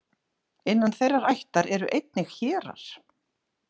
Innan þeirrar ættar eru einnig hérar.